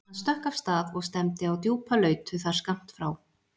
Hann stökk af stað og stefndi á djúpa lautu þar skammt frá.